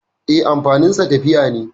E, amfaninsa tafiya ne.